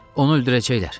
Onu öldürəcəklər.